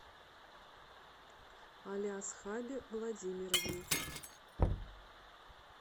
алиасхабе владимировне